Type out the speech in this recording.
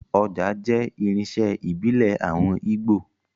Ọjà jẹ́ irinṣẹ́ ìbílẹ̀ àwọn Ígbò